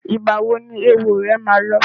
Ìgbà wo ni éwo rẹ ma lọ?